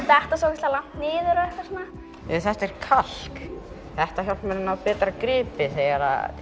detta svo ógeðslega langt niður og eitthvað svona þetta er kalk þetta hjálpar mér að ná betra gripi þegar